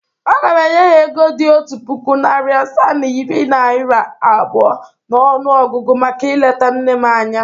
Aga m enye ha ego dị otu puku, narị asaa na iri naịra abụọ n’ọnụọgụgụ maka ileta nne m anya.